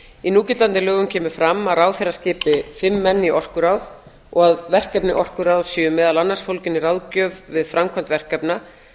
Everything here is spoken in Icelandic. í núgildandi lögum kemur að ráðherra skipi fimm menn í orkuráð og að verkefni orkuráðs séu meðal annars fólgin í ráðgjöf við framkvæmd verkefna